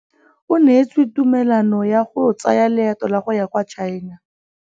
O neetswe tumalanô ya go tsaya loetô la go ya kwa China.